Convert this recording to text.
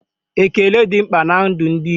Ékélé dị mkpa ná ndụ ndị Igbo